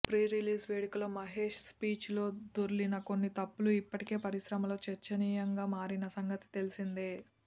prerelease వేడుకలో Mahesh speech లో దొర్లిన కొన్ని తప్పులు ఇప్పటికే పరిశ్రమలో చర్చనీయంగా మారిన సంగతి తెలిసిందే